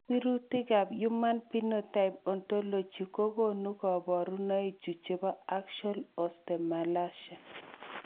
Sirutikab Human Phenotype Ontology kokonu koborunoikchu chebo Axial osteomalacia.